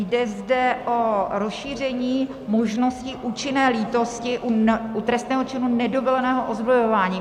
Jde zde o rozšíření možnosti účinné lítosti u trestného činu nedovoleného ozbrojování.